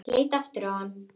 Ég leit aftur á hana.